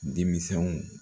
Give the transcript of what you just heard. Denmisɛnw